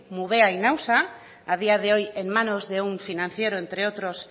mubea y nausa a día de hoy en manos de un financiero entre otros